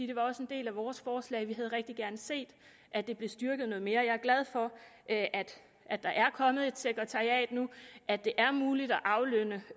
det var også en del af vores forslag vi havde rigtig gerne set at det blev styrket noget mere jeg er glad for at der er kommet et sekretariat nu og at det er muligt at aflønne